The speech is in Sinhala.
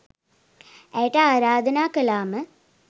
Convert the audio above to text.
ඇයට ආරාධනා කළාම